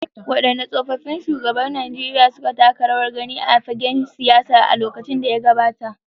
Waɗanne tsaffin shugabannin Najeriya suka taka rawar gani a fagen siyasa a lokacin da ya gabata.